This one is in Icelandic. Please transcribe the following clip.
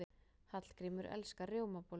Hallgrímur elskar rjómabollur.